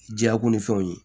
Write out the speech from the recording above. Jako ni fɛnw ye